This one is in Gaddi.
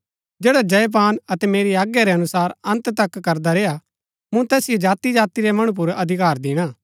जैडा जय पान अतै मेरी आज्ञा रै अनुसार अन्त तक करदा रेय्आ मूँ तैसिओ जाति जाति रै मणु पुर अधिकार दिणा